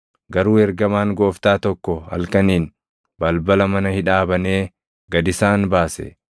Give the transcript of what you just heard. Garuu ergamaan Gooftaa tokko halkaniin balbala mana hidhaa banee gad isaan baase.